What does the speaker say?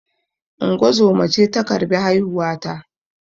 Ungozoma ce ta karbi haihuwa ta